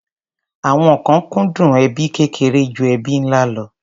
Àwọn kan kúndùn ẹbí kékeré ju ẹbí ńlá lọ.